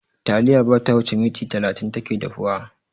Taliya bata wuce minti talatin take dahuwa.